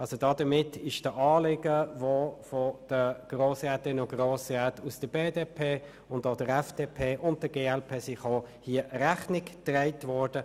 Damit wurde den Anliegen der Grossrätinnen und Grossräte der BDP, der FDP und der glp Rechnung getragen.